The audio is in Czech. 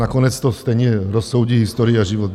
Nakonec to stejně rozsoudí historie a život.